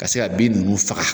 Ka se ka bin nunnu faga